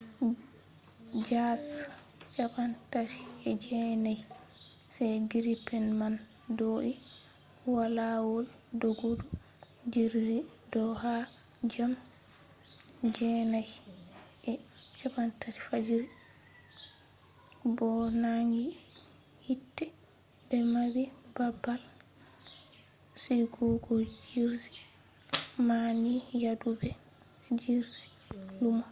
jas 39c gripen man do’i ha lawol doggudu jirgi do ha jam 9:30 fajiri 0230 utc bo nangi hiite be mabbi babal sigugojirgi man ni yaadu be jirgi lumo